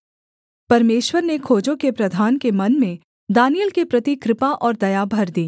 परमेश्वर ने खोजों के प्रधान के मन में दानिय्येल के प्रति कृपा और दया भर दी